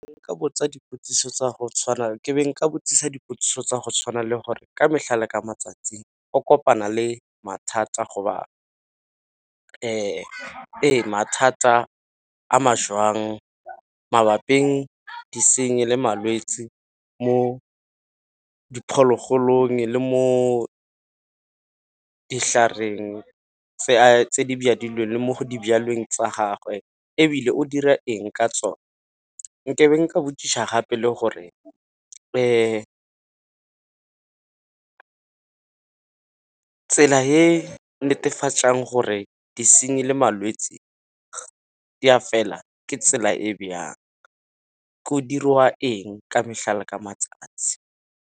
Ke be nka botšiša dipotšišo tsa go tshwana le gore ka mehla le ka matsatsi o kopana le mathata go ba ee mathata a ma jwang mabaping disenyi le malwetsi mo diphologolong le mo ditlhareng tse di le mo tsa gagwe, ebile o dira eng ka tsone. Nke be ka botšiša gape le gore tsela e netefatsang gore disenyi le malwetsi di a fela ke tsela e bjang go dirwa eng ka mehla ka matsatsi.